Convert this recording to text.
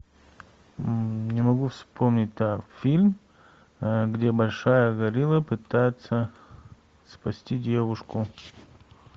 не могу вспомнить фильм где большая горилла пытается спасти девушку